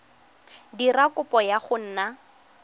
dira kopo ya go nna